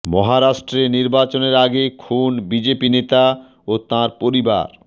মহারাষ্ট্রে নির্বাচনের আগে খুন বিজেপি নেতা ও তাঁর পরিবার